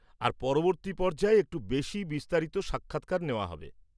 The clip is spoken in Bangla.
আর পরবর্তী পর্যায়ে একটু বেশি বিস্তারিত সাক্ষাৎকার নেওয়া হবে।